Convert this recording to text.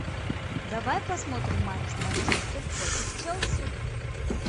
давай посмотрим матч манчестер против челси